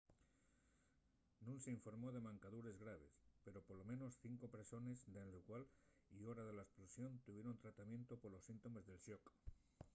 nun s’informó de mancadures graves pero polo menos cinco persones nel llugar y hora de la esplosión tuvieron tratamientu polos síntomes del xoc